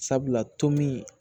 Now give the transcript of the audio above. Sabula tomin